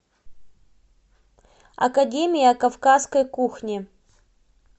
академия кавказской кухни